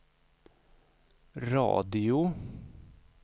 radio